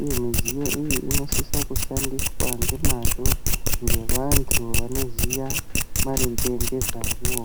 uye midziyo iyi inosise kushandiswa ngemazvo ngevantu vanoziya maringe nezvazvo.